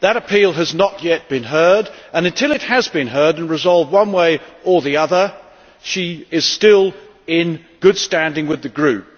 That appeal has not yet been heard, and until it has been heard and resolved one way or the other, she is still in good standing with the Group.